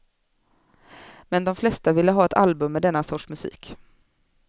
Men de flesta ville ha ett album med denna sorts musik.